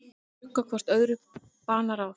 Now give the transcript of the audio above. Þau brugga hvort öðru banaráð.